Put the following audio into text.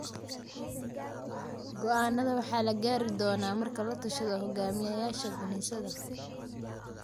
Go'aannada waxaa la gaari doonaa marka la tashado hoggaamiyayasha kiniisadda.